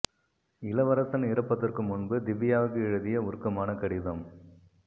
இளவரசன் இறப்பதற்கு முன்பு திவ்யாவுக்கு எழுதிய உருக்கமான கடிதம்